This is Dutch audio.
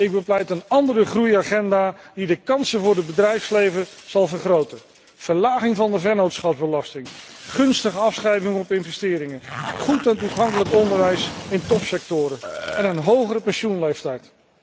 Ik bepleit een andere groei agenda, die de kansen voor het bedrijfsleven zal vergroten verlaging van de vennootschapsbelasting, gunstige afschrijving op investeringen, goed en toegankelijk onderwijs in topsectoren en een hogere pensioenleeftijd.